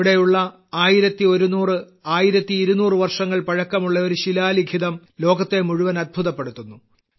ഇവിടെയുള്ള 11001200 വർഷങ്ങൾ പഴക്കമുള്ള ഒരു ശിഖാലിഖിതം ലോകത്തെ മുഴുവൻ അത്ഭുതപ്പെടുത്തുന്നു